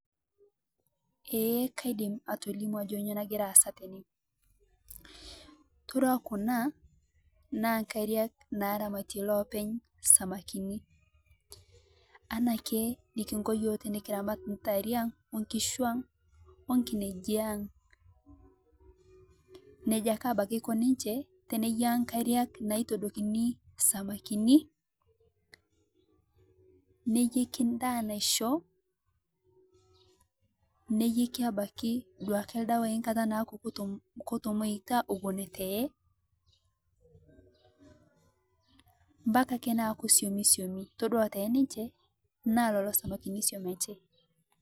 Eeh kaidiim atolimuu ajoo kanyoo nagira aasa tene, itodua kuna naa nkaariak naaramatie loopeny' samakini, anaake nikinkoo yoo tinikiramat ntaarie ang' , onkishuu ang, onkineeji ang'. Nejaa ake abakii aikoo ninchee teneyaa nkaariak naitodokii samakini, neiyeeki ndaa naishoo, niyeeki abaki duake ldewai nkaata naake kotomoyuuta ewuen tee, mpakaa ake naaku shomi shomi. Itodua tene enchee naa leloo samakini oshomitee.